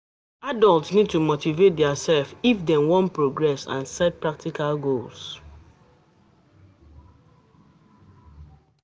Adult need to motivate their self of dem wan progress and set practical goals